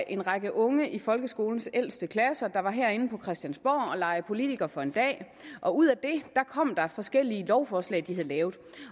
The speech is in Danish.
en række unge i folkeskolens ældste klasser var herinde på christiansborg og lege politiker for en dag og ud af det kom der forskellige lovforslag som de havde lavet